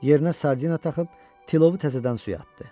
Yerine sardina taxıb tilovu təzədən suya atdı.